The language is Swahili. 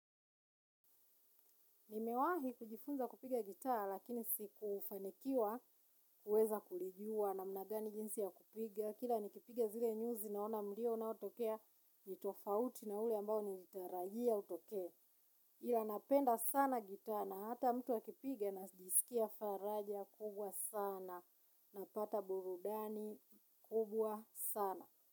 Nimewahi kujifunza kupiga gitaa lakini sikufanikiwa kuweza kulijua namna gani jinsi ya kupiga. Kila nikipiga zile nyuzi naona mlio unaotokea nitofauti na ule ambao nilitarajia utokee. Ila napenda sana gitaa na hata mtu akipiga najisikia faraja kubwa sana na pata burudani kubwa sana.